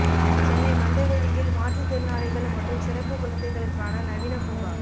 சென்னை மந்தவெளியில் மாற்று திறனாளிகள் மற்றும் சிறப்பு குழந்தைகளுக்கான நவீன பூங்கா